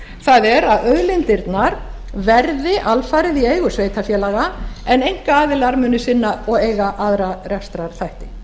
það er að auðlindirnar verði alfarið í eigu sveitarfélaga en einkaaðilar muni sinna og eiga aðra rekstrarþætti